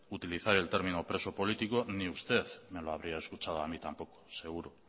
utilizar el término preso político ni usted me lo habría escuchado a mí tampoco seguro